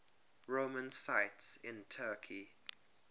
roman sites in turkey